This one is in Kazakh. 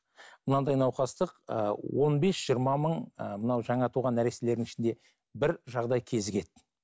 мынандай науқастық ыыы он бес жиырма мың ыыы мынау жаңа туған нәрестелердің ішінде бір жағдай кезігеді